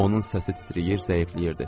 Onun səsi titrəyir, zəifləyirdi.